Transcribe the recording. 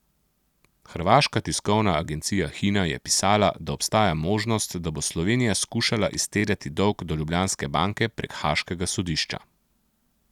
Hrvaška tiskovna agencija Hina je pisala, da obstaja možnost, da bo Slovenija skušala izterjati dolg do Ljubljanske banke prek haaškega sodišča.